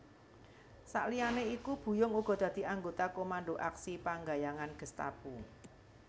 Sakliyane iku Buyung uga dadi anggota Komando Aksi Penggayangan Gestapu